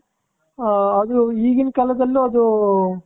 ಅ ಅದು ಈಗಿನ ಕಾಲದಲ್ಲೂ ಅದು